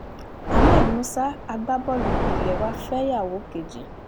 ahmed musa agbábọ́ọ̀lù ilé wa fẹ́yàwó kejì